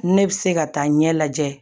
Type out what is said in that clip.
Ne bɛ se ka taa ɲɛ lajɛ